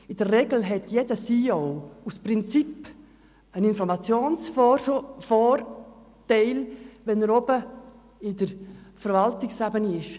In der Regel hat jeder CEO aus Prinzip einen Informationsvorteil, wenn er der obersten Ebene der Verwaltung angehört.